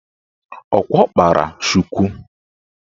Ọkwa ọ kpara shuku?